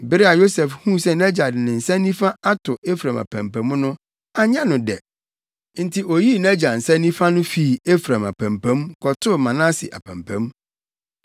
Bere a Yosef huu sɛ nʼagya de ne nsa nifa ato Efraim apampam no, anyɛ no dɛ. Enti oyii nʼagya nsa nifa no fii Efraim apampam, kɔtoo Manase apampam.